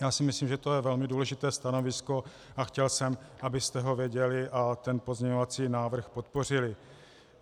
Já si myslím, že to je velmi důležité stanovisko, a chtěl jsem, abyste ho věděli a ten pozměňovací návrh podpořili.